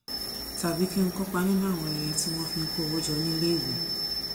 tàbí kí n kópa nínú àwọn ayẹyẹ tí wón fi ń kó owó jọ níléèwé